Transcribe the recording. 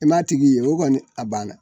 I m'a tigi ye o kɔni a banna.